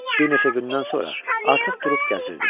Bir neçə gündən sonra artıq durub gəzirdim.